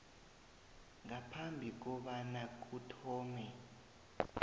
ngaphambi kobana kuthome